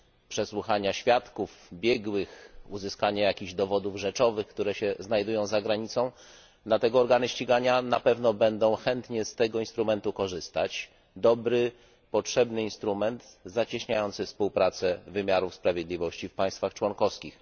przesłuchania świadków, biegłych, uzyskanie jakiś dowodów rzeczowych, które się znajdują za granicą, dlatego organy ścigania na pewno będą chętnie z tego instrumentu korzystać. To będzie dobry, potrzebny instrument zacieśniający współpracę wymiaru sprawiedliwości w państwach członkowskich.